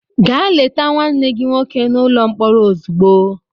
Gaa leta nwanne gị nwoke n'ụlọ mkpọrọ ozugbo!